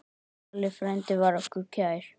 Halli frændi var okkur kær.